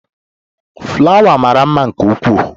Fulawa mara mma nke ukwuu.